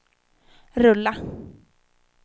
rulla